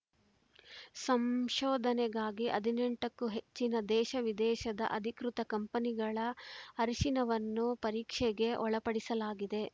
ಸಂಶೋಧನೆಗಾಗಿ ಹದಿನೆಂಟಕ್ಕೂ ಹೆಚ್ಚಿನ ದೇಶವಿದೇಶದ ಅಧಿಕೃತ ಕಂಪನಿಗಳ ಅರಿಶಿನವನ್ನು ಪರೀಕ್ಷೆಗೆ ಒಳಪಡಿಸಲಾಗಿದೆ